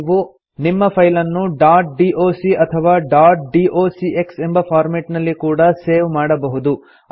ನೀವು ನಿಮ್ಮ ಫೈಲನ್ನು ಡಾಟ್ ಡಾಕ್ ಅಥವಾ ಡಾಟ್ ಡಾಕ್ಸ್ ಎಂಬ ಫಾರ್ಮೆಟ್ ನಲ್ಲಿ ಕೂಡಾ ಸೇವ್ ಮಾಡಬಹುದು